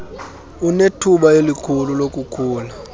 anethuba elikhulu lokukhula